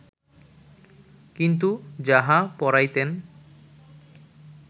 কিন্তু যাহা পড়াইতেন